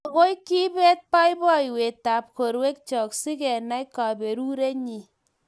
Maagoi kebet boiboiyetab borwekcho sigenai kaberurenyi